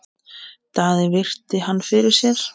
Daði virti hann fyrir sér.